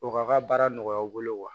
O k'a ka baara nɔgɔya aw bolo wa